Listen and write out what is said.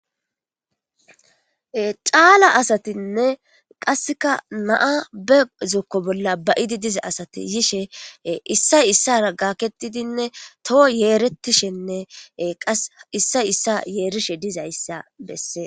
xaala asatinne qasseka naa be zokko bolla bayidi diza asati yishe issay issara gaketidinne toho yeeretishenne qa issay issa yeerishe dizay issa bessee